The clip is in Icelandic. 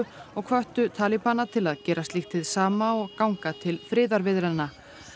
og hvöttu Talíbana til að gera slíkt hið sama og ganga til friðarviðræðna